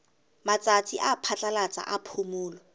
matsatsi a phatlalatsa a phomolo